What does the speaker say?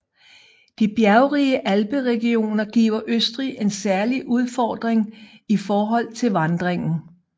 De bjergrige alperegioner giver Østrig en særlig udfordring i forhold til vandringen